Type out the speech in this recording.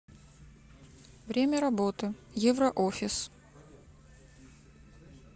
время работы евроофис